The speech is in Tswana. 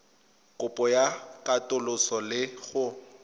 kopo ya katoloso le go